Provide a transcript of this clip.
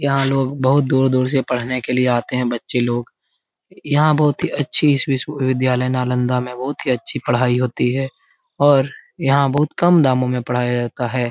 यहाँ लोग बहुत दूर दूर से पढने के लिए आते हैं बच्चे लोग यहाँ बहुत ही अच्छी विश्वविद्यालय नालंदा में बहुत ही अच्छी पढ़ाई होती है और यहाँ बहुत ही कम दामो में पढ़ाया जाता है ।